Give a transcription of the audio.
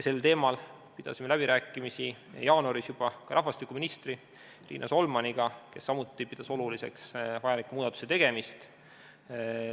Sel teemal pidasime läbirääkimisi jaanuaris ka rahvastikuminister Riina Solmaniga, kes samuti pidas oluliseks muudatuse tegemist.